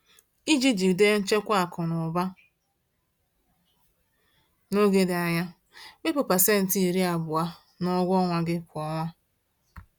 Iji jide nchekwa akụ na ụba n’oge dị anya, wepụ pasenti iri abụọ (20%) n’ụgwọ ọnwa gị kwa ọnwa.